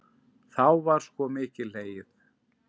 Þá var sko mikið hlegið.